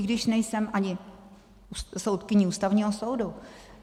I když nejsem ani soudkyní Ústavního soudu.